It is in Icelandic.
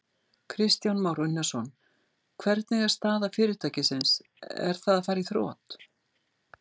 Kristján Már Unnarsson: Hvernig er staða fyrirtækisins, er það að fara í þrot?